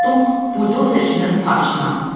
Mən də oturdum buldozerçinin parşına.